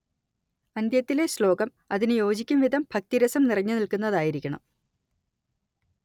അന്ത്യത്തിലെ ശ്ലോകം അതിന് യോജിക്കും വിധം ഭക്തിരസം നിറഞ്ഞുനിൽക്കുന്നതായിരിക്കണം